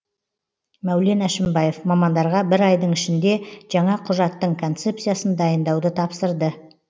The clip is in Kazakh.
мәулен әшімбаев мамандарға бір айдың ішінде жаңа құжаттың концепциясын дайындауды тапсырды